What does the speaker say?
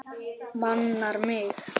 Manar mig.